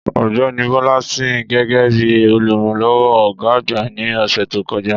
Ọ̀gbẹ́ni Bola sìn gẹ́gẹ́ bí olùrànlọ́wọ́ ọ̀gá àgbà ní ọsẹ to koja.